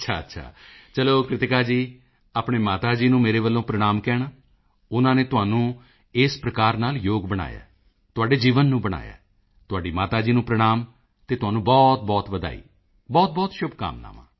ਅੱਛਾ ਅੱਛਾ ਚਲੋ ਕ੍ਰਿਤਿਕਾ ਜੀ ਆਪਣੇ ਮਾਤਾ ਜੀ ਨੂੰ ਮੇਰੇ ਵੱਲੋਂ ਪ੍ਰਣਾਮ ਕਹਿਣਾ ਉਨ੍ਹਾਂ ਨੇ ਤੁਹਾਨੂੰ ਇਸ ਪ੍ਰਕਾਰ ਨਾਲ ਯੋਗ ਬਣਾਇਆ ਤੁਹਾਡੇ ਜੀਵਨ ਨੂੰ ਬਣਾਇਆ ਤੁਹਾਡੀ ਮਾਤਾ ਜੀ ਨੂੰ ਪ੍ਰਣਾਮ ਅਤੇ ਤੁਹਾਨੂੰ ਬਹੁਤਬਹੁਤ ਵਧਾਈ ਬਹੁਤਬਹੁਤ ਸ਼ੁਭਕਾਮਨਾਵਾਂ